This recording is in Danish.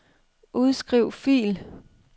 Udskriv fil.